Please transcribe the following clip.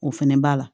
O fɛnɛ b'a la